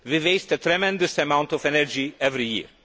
We waste a tremendous amount of energy every year.